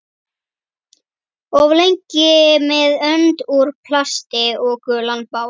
Of lengi með önd úr plasti og gulan bát